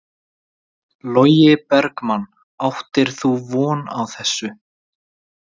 Logi Bergmann: Áttir þú von á þessu?